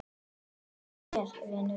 Farðu vel, vinur og bróðir!